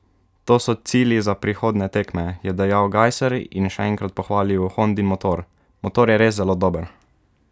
To so cilji za prihodnje tekme," je dejal Gajser in še enkrat pohvalil Hondin motor: "Motor je res zelo dober.